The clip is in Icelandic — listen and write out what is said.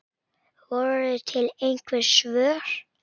Voru til einhver svör?